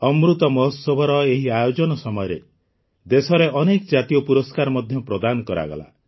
ଅମୃତ ମହୋତ୍ସବର ଏହି ଆୟୋଜନ ସମୟରେ ଦେଶରେ ଅନେକ ଜାତୀୟ ପୁରସ୍କାର ମଧ୍ୟ ପ୍ରଦାନ କରାଗଲା